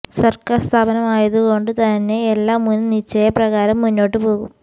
സർക്കാർ സ്ഥാപനമായതു കൊണ്ട് തന്നെ എല്ലാ മുൻ നിശ്ചയ പ്രകാരം മുന്നോട്ട് പോകും